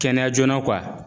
Kɛnɛya joona